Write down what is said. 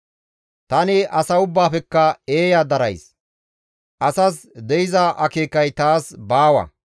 «Tani asa ubbaafekka eeya darays; asas de7iza akeekay taas baawa.